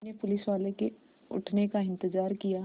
मैंने पुलिसवाले के उठने का इन्तज़ार किया